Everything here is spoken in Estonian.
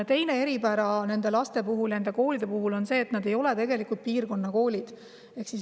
Teine eripära nende koolide puhul on see, et nad ei ole tegelikult piirkonnakoolid.